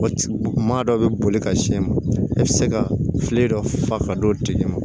Maa dɔ bɛ boli ka sin ma i bɛ se ka filen dɔ fa ka don diɲɛ ma